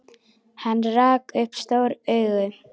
Hann rak upp stór augu.